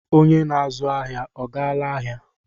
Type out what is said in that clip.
Onye na-azụ ahịa ọ gaala ahịa?